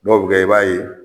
Dɔw bi kɛ i b'a ye